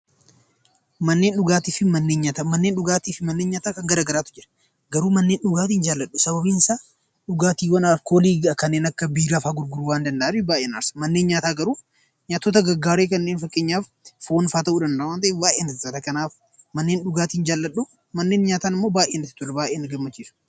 Manneen dhugaatii fi manneen nyaataa kan gara garaatu jiru. Garuu manneen dhugaatii hin jaalladhu. Sababiin isaa dhugaatiiwwan alkoolii kanneen akka biiraa fa'a gurguruu waan danda'aniif baay'ee na aarsa. Manneen nyaataa garuu nyaatota gaggaarii kanneen fakkeenyaaf foonfaa ta'uu danda'a waan ta'eef baay'ee natti tola. Kanaaf manneen dhugaatii hin jaalladhu, manneen nyaataa ammoo baay'ee natti tolu, baay'ee na gammachiisu.